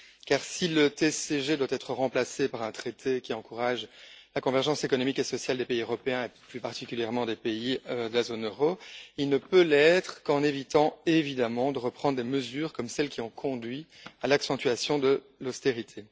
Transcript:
Car si le TSCG doit être remplacé par un traité qui encourage la convergence économique et sociale des pays européens et, plus particulièrement, des pays de la zone euro, il ne peut l'être qu'en évitant évidemment de reprendre des mesures comme celles qui ont conduit à l'accentuation de l'austérité.